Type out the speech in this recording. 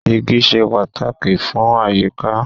Igi ṣe pàtàkì fún àyíká.